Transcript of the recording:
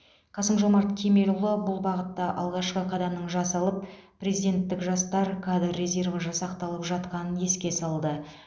қасым жомарт кемелұлы бұл бағытта алғашқы қадамның жасалып президенттік жастар кадр резерві жасақталып жатқанын еске салды